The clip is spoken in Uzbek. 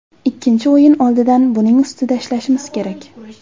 Ikkinchi o‘yin oldidan buning ustida ishlashimiz kerak.